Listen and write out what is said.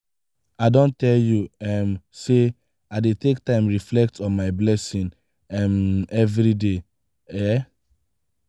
i don tell you um sey i dey take time reflect on my blessing um everyday. um